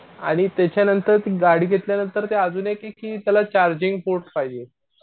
आणि त्याच्या नंतर ती गाडी घेतल्या नंतर ती अजून येते कि त्याला चार्जिंग पोर्ट पाहिजे.